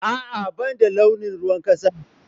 A, a bani da launin ruwan kasa